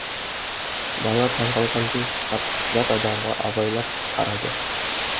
бала таң қалғандай жат адамға абайлап қарады